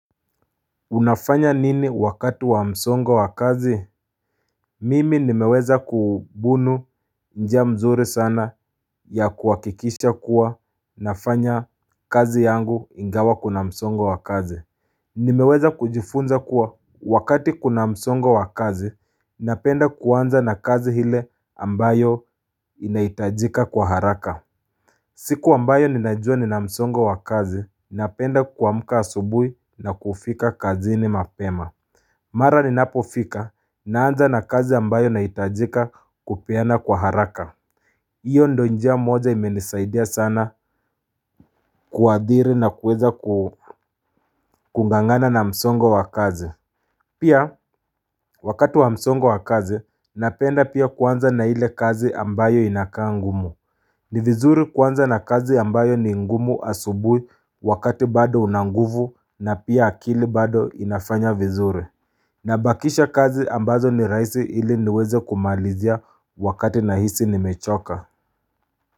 Unafanya nini wakati wa msongo wa kazi Mimi nimeweza kubunu njia mzuri sana ya kuhakikisha kuwa nafanya kazi yangu ingawa kuna msongo wa kazi Nimeweza kujifunza kuwa wakati kuna msongo wa kazi napenda kuanza na kazi ile ambayo inahitajika kwa haraka siku ambayo ninajua nina msongo wa kazi napenda kuamka asubuhi na kufika kazini mapema Mara ninapofika naanza na kazi ambayo nahitajika kupeana kwa haraka hiyo ndo njia moja imenisaidia sana kuadhiri nakuweza kung'ang'ana na msongo wa kazi Pia wakati wa msongo wa kazi napenda pia kuanza na ile kazi ambayo inakaa ngumu ni vizuri kuanza na kazi ambayo ni ngumu asubuhi wakati bado unanguvu na pia akili bado inafanya vizuri Nabakisha kazi ambazo ni raisi ili niweze kumalizia wakati nahisi nimechoka.